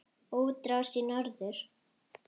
Útrás í norður